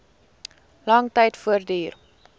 lang tyd voortduur